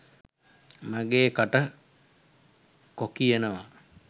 මගේ කට කොකියනවා.